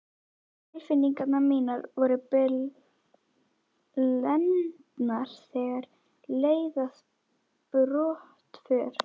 Tilfinningar mínar voru blendnar þegar leið að brottför.